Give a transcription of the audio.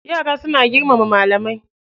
Yara suna girmama malamai.